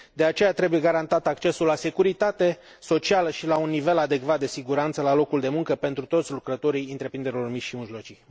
De aceea, trebuie garantat accesul la securitate socială și la un nivel adecvat de siguranță la locul de muncă pentru toți lucrătorii întreprinderilor mici și mijlocii.